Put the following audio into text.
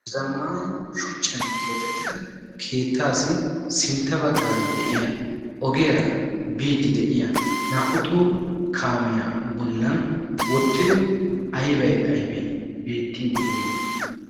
Zammaana shuchchan keexettida keettaassi sintta baggaara de'iya ogiyara biiddi de'ya naa"u toho kaamiya bollan wottido aybay aybay beettiiddi de'ii?